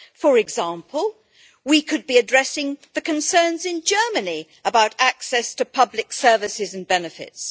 For example, we could be addressing the concerns in Germany about access to public services and benefits.